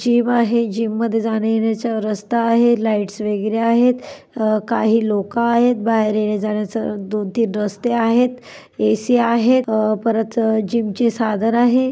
Gym आहे. जीममध्ये जाण्यायेण्याचा रस्ता आहे. लाईट्स वगैरे आहेत. अ काही लोक आहेत. बाहेर येण्याजाण्याच दोन तीन रस्ते आहेत. ए सी आहे. अ परत जीम ची साधन आहे.